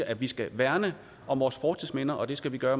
at vi skal værne om vores fortidsminder og at vi skal gøre